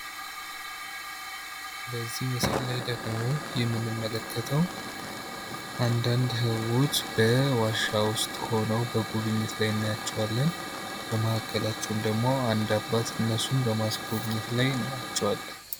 በዚህ ምስል ላይ ደግሞ የምንመለከተው አንዳንድ ሰዎች በዋሻ ውስጥ ሁነው በጉብኝት ላይ እናያቸዋለን በመሃከላቸውም ደግሞ አንድ አባት እነሱን በማስጎብኘት ላይ እናያቸዋለን።